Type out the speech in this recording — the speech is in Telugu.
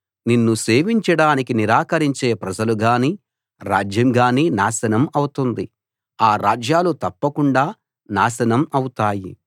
నిన్ను సేవించడానికి నిరాకరించే ప్రజలు గానీ రాజ్యం గానీ నాశనం అవుతుంది ఆ రాజ్యాలు తప్పకుండా నాశనం అవుతాయి